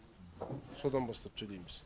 содан бастап төлейміз